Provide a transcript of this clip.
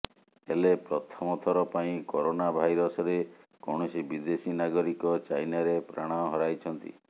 ହେଲେ ପ୍ରଥମଥର ପାଇଁ କରୋନା ଭାଇରସରେ କୌଣସି ବିଦେଶୀ ନାଗରିକ ଚାଇନାରେ ପ୍ରାଣ ହରାଇଛନ୍ତି